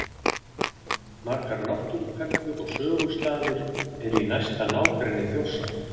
Margar náttúruperlur og sögustaðir eru í næsta nágrenni Þjórsár.